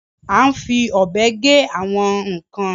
À ń fi ọ́bè gè àwọn nkan.